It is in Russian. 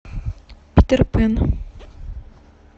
питер пэн